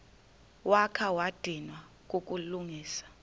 wakha wadinwa kukulungisa